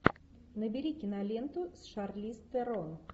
набери киноленту с шарлиз терон